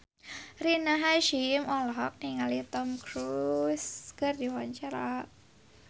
Rina Hasyim olohok ningali Tom Cruise keur diwawancara